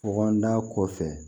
Kɔngɔn da kɔfɛ